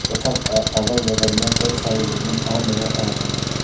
तथा अह अगल बगल में कई सारे बिल्डिंग और नजर आ रहे हैं।